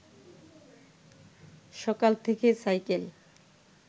সকাল থেকে সাইকেল